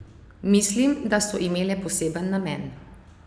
Mislim, da so imele poseben namen.